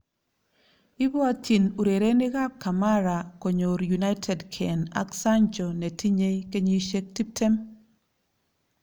Ibwotjin urerenikab kamara konyor United Kane ak Sancho netinye kenyisiek tiptem